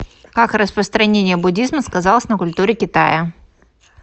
как распространение буддизма сказалось на культуре китая